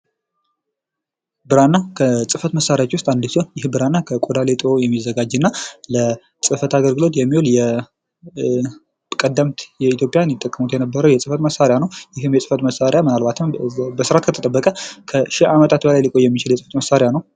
ብራና ከጽህፈት መሳሪያዎች ውስጥ አንዱ ሲሆን ብራና ከቆዳና ሌጦ የሚዘጋጅና ለጽህፈት አገልግሎት የሚውል ፤ ቀደምት ኢትዮጵያውያን የሚጠቀሙበት የነበረ የጽህፈት መሳሪያ ነው። ይህም የጽህፈት መሳሪያ ምናልባትም በስርአት ከተጠበቀ ለሺህ ዓመታት ሊቆይ የሚችል የጽህፈት መሳሪያ ነው።